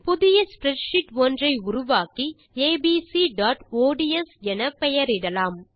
புதியspreadsheet ஒன்றை உருவாக்கி abcஒட்ஸ் என பெயரிடலாம்